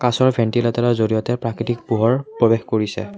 কাঁচৰ ভেণ্টিলেতৰৰ জৰিয়তে প্ৰাকৃতিক পোহৰ প্ৰৱেশ কৰিছে।